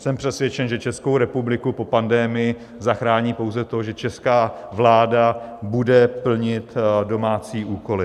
Jsem přesvědčen, že Českou republiku po pandemii zachrání pouze to, že česká vláda bude plnit domácí úkoly.